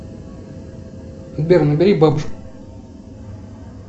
сбер набери бабушку